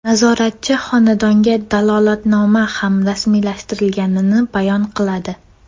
Nazoratchi xonadonga dalolatnoma ham rasmiylashtirilganini bayon qiladi.